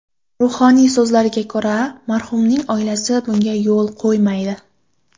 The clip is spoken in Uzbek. Ruhoniyning so‘zlariga ko‘ra, marhumning oilasi bunga yo‘l qo‘ymaydi.